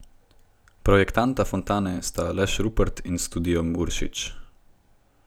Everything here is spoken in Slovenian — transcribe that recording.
Projektanta fontane sta Aleš Rupreht in Studio Uršič.